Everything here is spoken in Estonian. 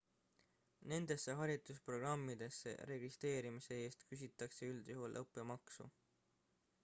nendesse haridusprogrammidesse registreerimise eest küsitakse üldjuhul õppemaksu